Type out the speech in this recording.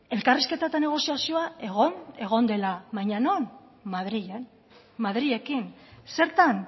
elkarrizketa eta negoziazioa egon egon dela baina non madrilen madrilekin zertan